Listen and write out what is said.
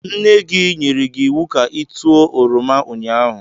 Nne-gi nyere gi iwu ka i tuo oroma ụnyaahụ!